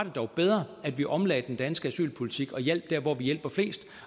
dog bedre at vi omlagde den danske asylpolitik og hjalp der hvor vi hjælper flest